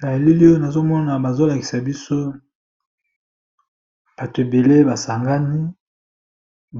Na elili oyo nazomona bazolakisa biso bato ebele basangani,